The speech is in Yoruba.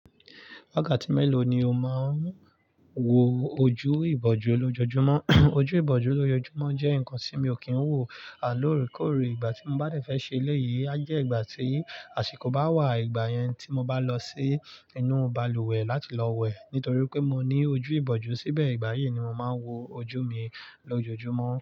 Wákàtí mélòó ni o máa ń wo ojú ìbòjú lójoojúmọ́? Ojú ìbòjú lójoojúmọ́ jẹ́ nǹkan tí mi ò kí ń wò. Lóòrèkóòrè, ìgbà tí mo bá dẹ̀ fẹ́ ṣe eléyìí, a jẹ́ ìgbà tí àsìkò bá wà, ìgbà yẹn tí mo bá lọ sí inú balùwẹ̀ láti lọ wẹ̀. Nítorí pé mo ní ojú ìbòjú, síbẹ̀ ìgbà yẹn ni mo máa ń wo ojú mi lójoojúmọ́.